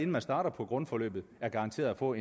man starter på grundforløbet er garanteret at få